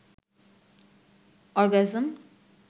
orgasm